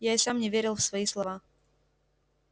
я и сам не верил в свои слова